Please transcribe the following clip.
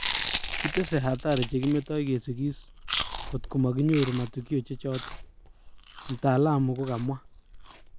Kitese hatari chekimetai sigis ,kotko makiyoru matukio che chato,"mtaaaluma kokamwa